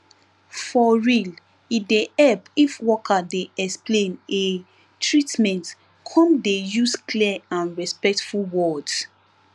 for real e dey help if worker dey explain ehh treatment come dey use clear and respectful words